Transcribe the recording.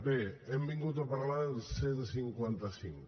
bé hem vingut a parlar del cent i cinquanta cinc